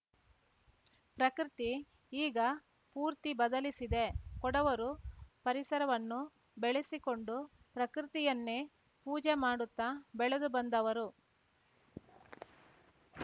ಪ್ರಕೃತಿ ಈಗ ಪೂರ್ತಿ ಬದಲಿಸಿದೆ ಕೊಡವರು ಪರಿಸರವನ್ನು ಬೆಳೆಸಿಕೊಂಡು ಪ್ರಕೃತಿಯನ್ನೇ ಪೂಜೆ ಮಾಡುತ್ತಾ ಬೆಳೆದುಬಂದವರು